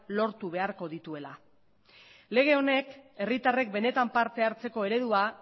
lortu beharko dituela lege honek herritarrek benetan parte hartzeko eredua